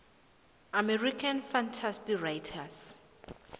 american fantasy writers